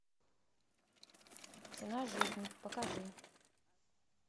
цена жизни покажи